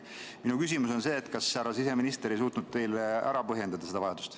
Minu küsimus on, kas härra siseminister ei suutnud teile seda vajadust ära põhjendada.